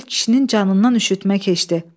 Elə bil kişinin canından üşütmə keçdi.